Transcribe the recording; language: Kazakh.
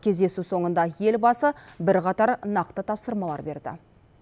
кездесу соңында елбасы бірқатар нақты тапсырмалар берді